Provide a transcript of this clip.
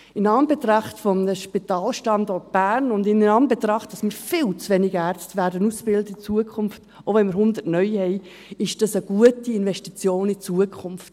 In Anbetracht eines Spitalstandorts Bern und in Anbetracht, dass wir in Zukunft viel zu wenig Ärzte ausbilden, auch wenn wir 100 neue haben, ist dies eine gute Investition in die Zukunft.